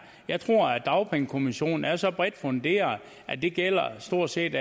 jeg tror at dagpengekommissionen er så bredt funderet at det gælder stort set